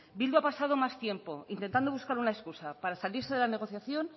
bildu ha pasado más tiempo intentando buscar una excusa para salirse de la negociación